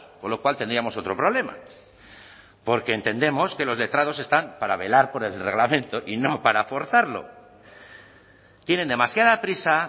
con lo cual tendríamos otro problema porque entendemos que los letrados están para velar por el reglamento y no para forzarlo tienen demasiada prisa